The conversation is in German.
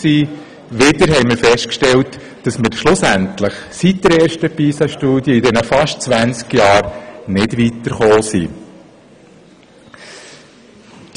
Wieder haben wir festgestellt, dass wir in den fast 20 Jahren seit der ersten Pisa-Studie nicht weitergekommen sind.